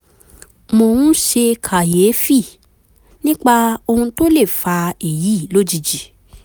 mo ń ṣe kàyéfì nípa ohun tó lè fa èyí lójijì